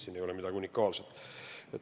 Siin ei ole midagi unikaalset.